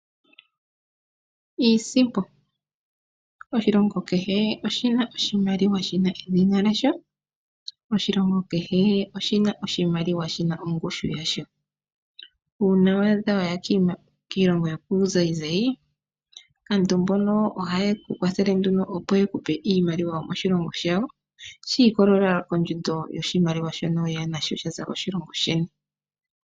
Iisimpo Oshilongo kehe oshina oshimaliwa shina edhina lyasho. Oshilongo kehe oshina oshimaliwa shina ongushu yasho. Uuna wa adha waya kiilongo yokuuzayizayi kaantu mbono ohaye ku kwathele nduno opo yeku pe iimaliwa yomoshilongo shawo shi ikololela kondjundo yoshimaliwa shono weya nasho shaza koshilongo sheni.